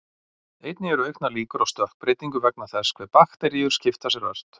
Einnig eru auknar líkur á stökkbreytingu vegna þess hve bakteríur skipta sér ört.